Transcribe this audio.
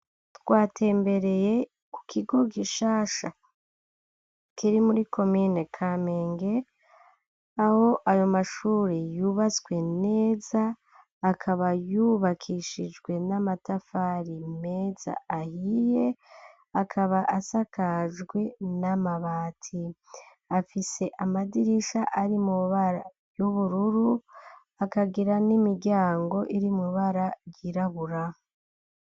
Twatembereye ku kigo gishasha, kiri muri komine Kamenge, aho ayo mashuri yubatswe neza, akaba yubakishijwe n'amatafari meza ahiye, akaba asakajwe n'amabati, afise amadirisha ari mw'ibara y'ubururu, akagira n'imiryango iri mw'ibara ryirabura.